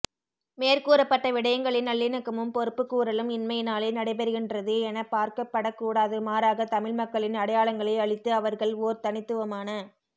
மேற்கூறப்பட்ட விடயங்களை நல்லிணக்கமும் பொறுப்புக்கூறலும் இன்மையினாலே நடைபெறுகின்றது எனப்பார்க்கப்படக்கூடாது மாறாக தமிழ் மக்களின் அடையாளங்களை அழித்து அவர்கள் ஓர் தனித்துவமான